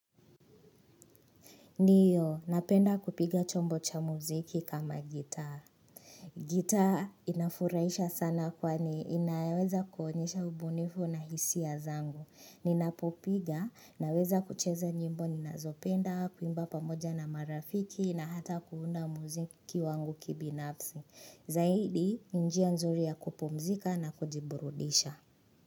Ndiyo napenda kupiga chombo cha muziki kama gitaa gitaa inafurahisha sana kwani inaweza kuonyesha ubunifu na hisia zangu Ninapopiga naweza kucheza nyimbo ninazopenda kuimba pamoja na marafiki na hata kuunda muziki wangu kibinafsi Zaidi ni njia nzuri ya kupumzika na kujiburudisha.